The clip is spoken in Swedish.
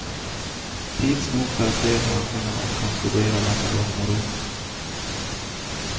Tids nog får jag se handlingarna och kan studera dem i lugn och ro.